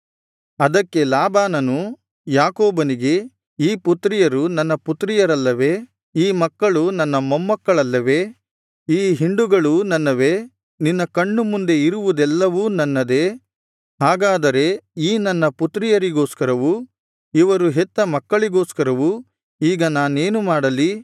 ಅದಕ್ಕೆ ಲಾಬಾನನು ಯಾಕೋಬನಿಗೆ ಈ ಪುತ್ರಿಯರು ನನ್ನ ಪುತ್ರಿಯರಲ್ಲವೇ ಈ ಮಕ್ಕಳು ನನ್ನ ಮೊಮ್ಮಕ್ಕಳಲ್ಲವೇ ಈ ಹಿಂಡುಗಳೂ ನನ್ನವೇ ನಿನ್ನ ಕಣ್ಣು ಮುಂದೆ ಇರುವುದೆಲ್ಲವೂ ನನ್ನದೇ ಹಾಗಾದರೆ ಈ ನನ್ನ ಪುತ್ರಿಯರಿಗೋಸ್ಕರವೂ ಇವರು ಹೆತ್ತ ಮಕ್ಕಳಿಗೋಸ್ಕರವೂ ಈಗ ನಾನೇನು ಮಾಡಲಿ